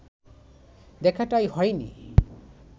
দেখাটাই হয়নি